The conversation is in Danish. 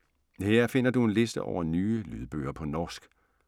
Her finder du en liste over nye lydbøger på norsk.